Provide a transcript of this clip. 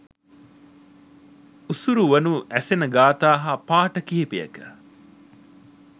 උසුරුවනු ඇසෙන ගාථා හා පාඨ කිහිපයක